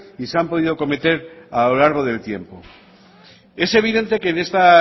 y se han podido cometer a lo largo del tiempo es evidente que en esta